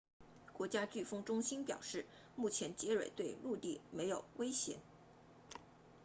国家飓风中心 nhc 表示目前杰瑞对陆地没有威胁